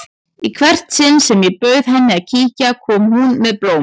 Í hvert sinn sem ég bauð henni að kíkja kom hún með blóm.